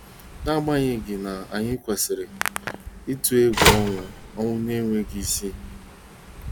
N'agbanyeghị, anyị ekwesịghị ịtụ egwu ọnwụ ọnwụ na-enweghị isi.